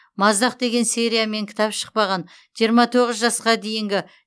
маздақ деген сериямен кітаб шықпаған жиырма тоғыз жасқа дейінгі